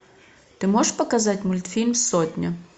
ты можешь показать мультфильм сотня